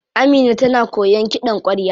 Amina tana koyan kiɗan kwarya.